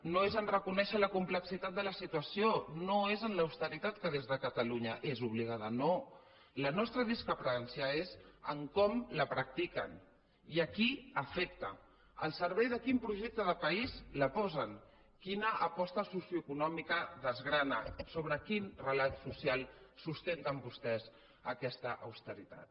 no és a reconèixer la complexitat de la situació no és en l’austeritat que des de catalunya és obligada no la nostra discrepància és en com la practiquen i a qui afecta al servei de quin projecte de país la posen quina aposta socioeconòmica desgrana sobre quin relat social sustenten vostès aquesta austeritat